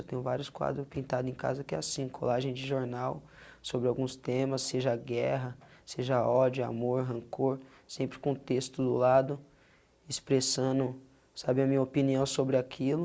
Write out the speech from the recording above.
Eu tenho vários quadros pintados em casa que é assim, colagem de jornal sobre alguns temas, seja a guerra, seja ódio, amor, rancor, sempre com o texto do lado, expressando, sabe, a minha opinião sobre aquilo,